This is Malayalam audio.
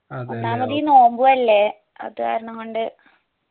ഒന്നാമത് ഈ നോമ്പു അല്ലെ അത് കാരണംകൊണ്ട്